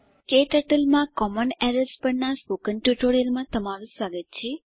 ક્ટર્ટલ માં common errors પરનાં આ ટ્યુટોરીયલમાં તમારું સ્વાગત છે